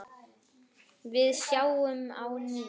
Við sjáumst á ný.